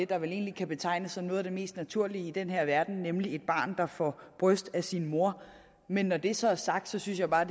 der vel egentlig kan betegnes som noget af det mest naturlige i den her verden nemlig et barn der får bryst af sin mor men når det så er sagt synes jeg bare